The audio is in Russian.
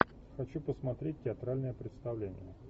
хочу посмотреть театральное представление